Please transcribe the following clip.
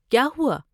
کیا ہوا؟